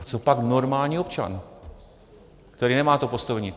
A co pak normální občan, který nemá to postavení?